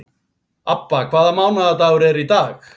Abba, hvaða mánaðardagur er í dag?